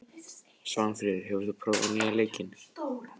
Svanfríður, hefur þú prófað nýja leikinn?